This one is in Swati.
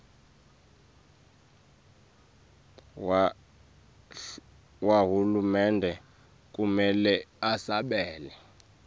wahulumende kumele usabele